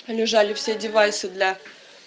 лежали все девайсы для